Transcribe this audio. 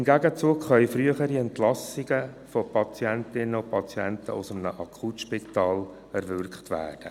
Im Gegenzug können frühere Entlassungen von Patientinnen und Patienten aus einem Akutspital erwirkt werden.